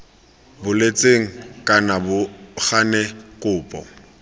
boletsweng kana bo gane kopo